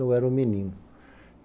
Eu era um menino.